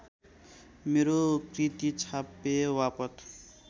मेरो कृति छापेबापत्